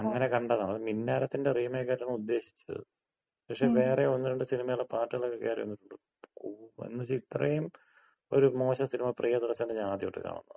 അങ്ങന കണ്ടതാണ്. അത് മിന്നാരത്തിന്‍റ റീമേക്കായിട്ടാണ് ഉദേശിച്ചത്. പക്ഷെ, വേറെ ഒന്ന് രണ്ട് സിനിമകളടെ പാർട്ട്കളക്ക കേറി വന്ന്. ഓ എന്ന് വച്ച ഇത്രയും ഒര് മോശം സിനിമ പ്രീയദർശന്‍റെ ഞാന് ആദ്യായിട്ട് കാണുവാ.